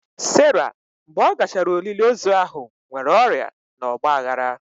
Sara mgbe ọ gachara olili ozu ahụ nwere ọrịa na ọgba aghara.